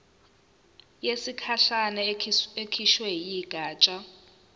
yesikhashana ekhishwe yigatsha